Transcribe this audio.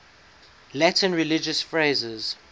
latin religious phrases